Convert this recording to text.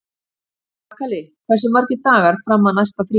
Kakali, hversu margir dagar fram að næsta fríi?